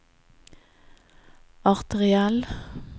arteriell